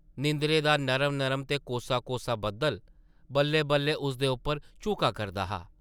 नींदरा दा नरम-नरम ते कोसा-कोसा बद्दल बल्लै-बल्लै उसदे उप्पर झुका करदा हा ।